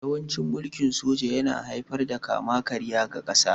Yawancin mulkin soja yana haifar da kama-karya ga ƙasa